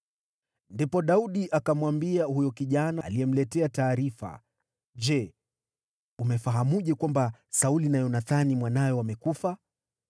Ndipo Daudi akamwambia huyo kijana aliyemletea taarifa, “Je, umefahamuje kwamba Sauli na Yonathani mwanawe wamekufa?”